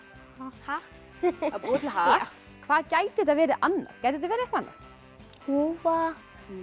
hatt búa til hatt hvað gæti þetta verið annað gæti þetta verið eitthvað annað húfa